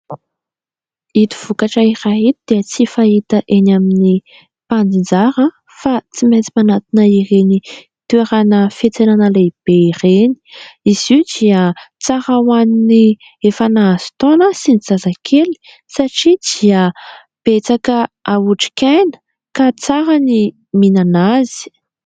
Ito vokatra iray ito dia tsy fahita eny amin'ny mpanjinjara fa tsy maintsy manantona ireny toerana fiantsenana lehibe ireny, izy io dia tsara ho an'ny efa nahazo taona sy ny zazakely satria dia betsaka otrik'aina ka tsara ny mihinana azy.